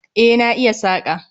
E, na iya saƙa